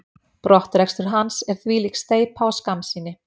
Brottrekstur hans er þvílík steypa og skammsýni.